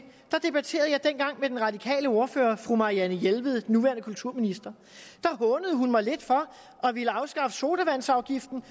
med den radikale ordfører fru marianne jelved den nuværende kulturminister der hånede hun mig lidt for at ville afskaffe sodavandsafgiften